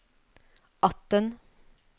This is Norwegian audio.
atten